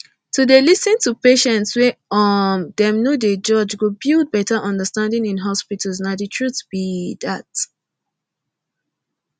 to dey lis ten to patients wey um dem no dey judge go build better understanding in hospitals nah the truth be dat